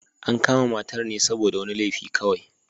An kama matar ne saboda wani laifi kawai.